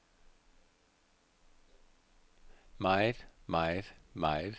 meget meget meget